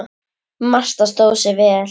Marta stóð sig vel.